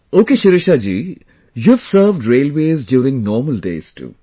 Ok Shirisha ji, you have served railways during normal days too